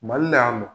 Mali la yan nɔ